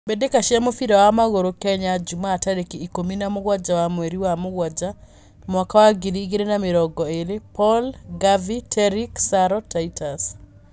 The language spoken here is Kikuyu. Mbitika cia mũbira wa magũrũ Kenya jumaa tareki ikũmi na mũgwanja wa mweri wa mũgwanja mwaka wa ngiri ĩgirĩ na mĩrongo ĩrĩ: Paul, Garvey, Terrick, Saro, Titus